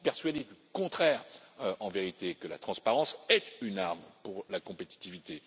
Je suis persuadé du contraire, en vérité, à savoir que la transparence est une arme pour la compétitivité.